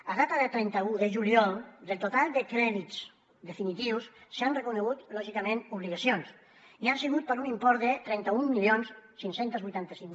a data de trenta un de juliol del total de crèdits definitius s’han reconegut lògicament obligacions i han sigut per un import de trenta mil cinc cents i vuitanta cinc